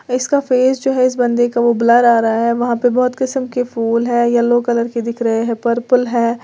इसका फेस जो है इस बंदे का वो ब्लर आ रहा है वहां पे बहुत किस्म के फूल है येलो कलर के दिख रहे हैं पर्पल है।